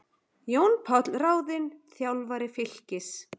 Jón Páll ráðinn þjálfari Fylkis